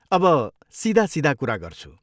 अब सिधा सिधा कुरा गर्छु।